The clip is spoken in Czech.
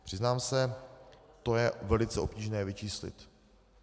Přiznám se, to je velice obtížné vyčíslit.